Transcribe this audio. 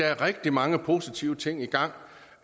er rigtig mange positive ting i gang